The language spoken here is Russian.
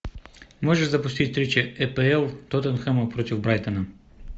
можешь запустить встречу апл тоттенхэма против брайтона